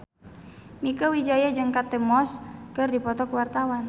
Mieke Wijaya jeung Kate Moss keur dipoto ku wartawan